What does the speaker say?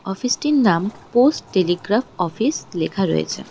অফিসটির নাম post telegraph office লেখা রয়েছে।